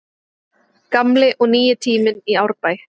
Gamli og nýi tíminn í Árbæ